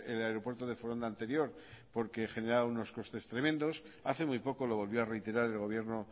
el aeropuerto de foronda anterior porque generaba unos costes tremendos hace muy poco lo volvió a reiterar el gobierno